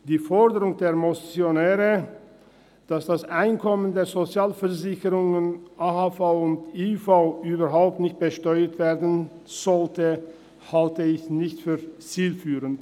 Die Forderung der Motionäre, dass das Einkommen der Sozialversicherungen AHV und IV überhaupt nicht besteuert werden sollte, halte ich nicht für zielführend.